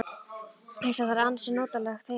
Eins og það er ansi notalegt heima.